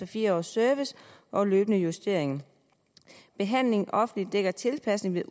fire års service og løbende justeringer behandlingen i det offentlige dækker tilpasningen